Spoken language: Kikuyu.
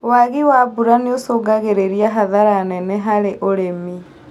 Waagi wa mbura nĩũcũngagĩrĩria hathara nene harĩ ũrĩmi